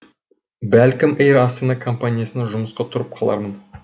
бәлкім эйр астана компаниясына жұмысқа тұрып қалармын